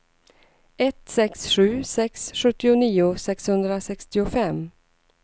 ett sex sju sex sjuttionio sexhundrasextiofem